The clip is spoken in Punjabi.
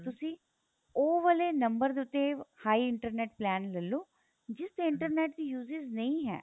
ਤੁਸੀਂ ਉਹ ਵਾਲੇ ਨੰਬਰ ਦੇ ਉੱਤੇ high internet plan ਲੈਲੋ ਜਿਸ internet ਦੀ uses ਨਹੀਂ ਹੈ